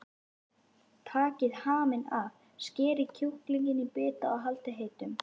Takið haminn af, skerið kjúklinginn í bita og haldið heitum.